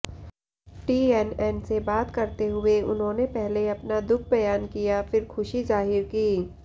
TNN से बात करते हुए उन्होंने पहले अपना दुख बयान किया फिर खुशी जाहिर की